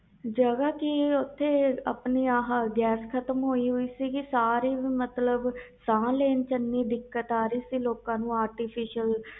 ਜਗ੍ਹਾ ਕਿ ਓਥੇ ਗੈਸ ਖਤਮ ਹੋਈ ਸੀ ਸਾਹ ਲੈ ਚ ਦਿਕਤ ਆ ਰਹੀ ਸੀ ਲੋਕਾਂ ਚ artificial